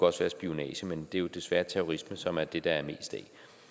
også være spionage men det er jo desværre terrorisme som er det der er mest af